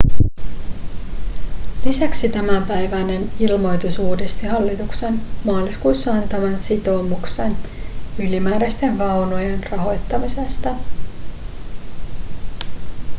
lisäksi tämänpäiväinen ilmoitus uudisti hallituksen maaliskuussa antaman sitoumuksen ylimääräisten vaunujen rahoittamisesta